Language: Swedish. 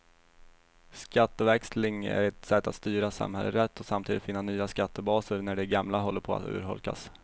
Skatteväxling är ett sätt att styra samhället rätt och samtidigt finna nya skattebaser när de gamla håller på att urholkas.